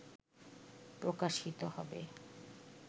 প্রকাশিত হবে